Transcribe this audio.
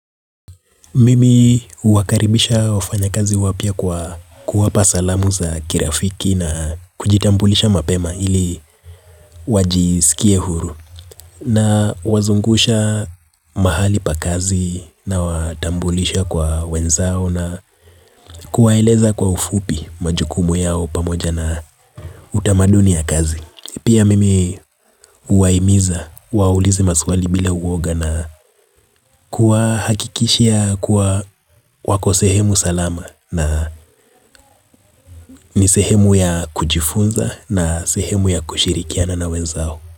Mimi huwakaribisha wafanya kazi wapya kwa kuwapa salamu za kirafiki na kujitambulisha mapema ili wajisikie huru na wazungusha mahali pa kazi na watambulisha kwa wenzao na kuwaeleza kwa ufupi majukumu yao pamoja na utamaduni ya kazi. Pia mimi huwaimiza, waulize maswali bila uwoga na kuwa hakikishia kuwa wako sehemu salama na ni sehemu ya kujifunza na sehemu ya kushirikiana na wenzao.